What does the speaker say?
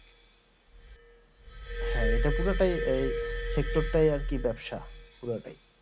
হ্যাঁএটা পুরোটাই এই sector তাই আর কি ব্যাপসা পুরোটাই